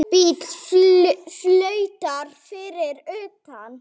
Bíll flautar fyrir utan.